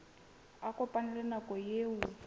a kopane le nako eo